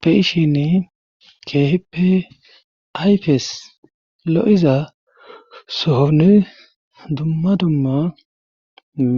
Be7ishin keehippe ayfes lo7iza sohonii dumma dumma